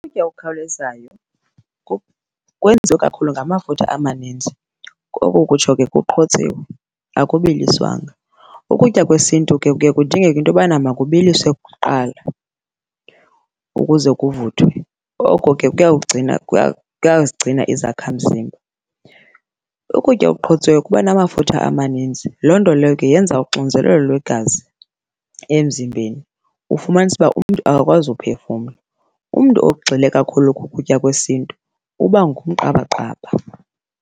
Ukutya okukhawulezayo kwenziwe kakhulu ngamafutha amaninzi koko ukutsho ke kuqhotsiwe akubiliswanga. Ukutya kwesintu ke kuye kudingeke into yobana makubiliswe kuqala ukuze kuvuthwe, oko ke kuyazigcina izakhamzimba. Ukutya okuqhotsiweyo kuba namafutha amaninzi, loo nto leyo ke yenza uxinzelelo lwegazi emzimbeni, ufumanise uba umntu akakwazi uphefumla. Umntu ogxile kakhulu kukutya kwesintu uba ngumqabaqaba.